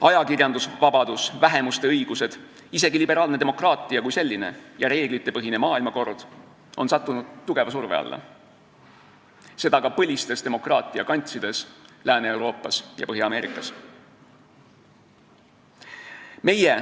Ajakirjandusvabadus, vähemuste õigused, isegi liberaalne demokraatia kui selline ja reeglitepõhine maailmakord on sattunud tugeva surve alla, seda ka põlistes demokraatia kantsides Lääne-Euroopas ja Põhja-Ameerikas.